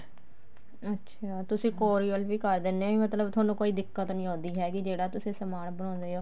ਅੱਛਿਆ ਤੁਸੀਂ courier ਵੀ ਕਰ ਦਿੰਦੇ ਹੋ ਨਹੀਂ ਮਤਲਬ ਤੁਹਾਨੂੰ ਕੋਈ ਦਿੱਕਤ ਨਹੀਂ ਆਉਂਦੀ ਹੈਗੀ ਜਿਹੜਾ ਤੁਸੀਂ ਸਮਾਨ ਬਣਾਉਂਦੇ ਹੋ